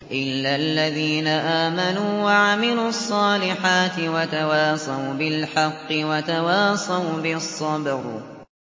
إِلَّا الَّذِينَ آمَنُوا وَعَمِلُوا الصَّالِحَاتِ وَتَوَاصَوْا بِالْحَقِّ وَتَوَاصَوْا بِالصَّبْرِ